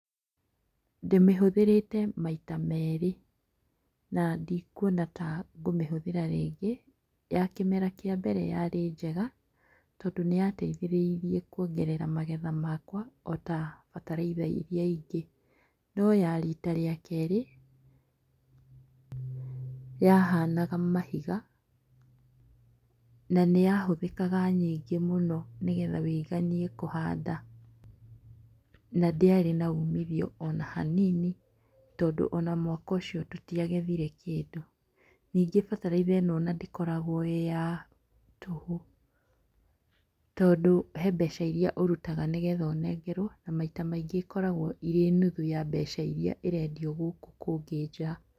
Ndĩmĩhũthĩrĩte maita merĩ, na ndikwona tangũmĩhũthĩra rĩngĩ. Yakĩmera kĩa mbere yarĩ njega tondũ nĩyateithĩrĩirie kwongerera magetha makwa ota bataraitha iria ingĩ. No yarita rĩa kerĩ yahanaga mahiga, nanĩyahũthĩkaga nyingĩ mũno nĩgetha wĩiganie kũhanda. Nandĩarĩ na umithio ona hanini tondũ ona mwaka ũcio tũtiagethire kĩndũ. Nyingĩ bataraitha ĩno ona ndĩkoragwo ya tũhũ, tondũ hembeca iria ũrutaga nĩgetha ũnengerwo . Maita maingĩ ĩkoragwo ĩrĩ nuthu ya mbeca iria ĩrendio gũkũ kũngĩ nja.